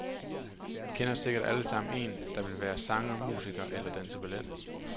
I kender sikkert allesammen en, der vil være sanger, musiker eller danse ballet.